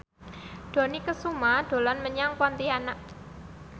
Dony Kesuma dolan menyang Pontianak